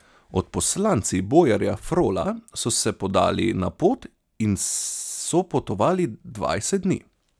Odposlanci bojarja Frola so se podali na pot in so potovali dvajset dni.